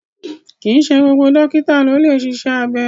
Kìí ṣe gbogbo dókítà ló lè ṣiṣẹ́ abẹ